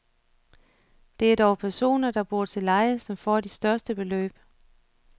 Det er dog personer, der bor til leje, som får de største beløb.